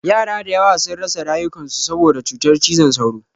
Yara da yawa sun rasa rayukan su saboda cutar cizon sauro.